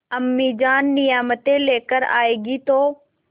अम्मीजान नियामतें लेकर आएँगी तो